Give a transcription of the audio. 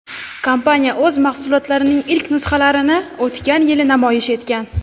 Kompaniya o‘z mahsulotlarining ilk nusxalarini o‘tgan yili namoyish etgan.